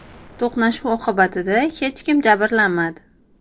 To‘qnashuv oqibatida hech kim jabrlanmadi.